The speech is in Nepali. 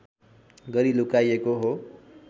गरी लुकाइएको हो